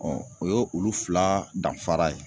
o ye olu fila danfara ye.